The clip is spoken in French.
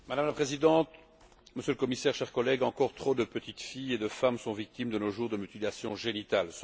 Madame la Présidente, Monsieur le Commissaire, chers collègues, encore trop de petites filles et de femmes sont victimes de nos jours de mutilations génitales.